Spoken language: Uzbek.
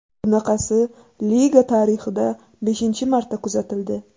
Bunaqasi liga tarixida beshinchi marta kuzatildi.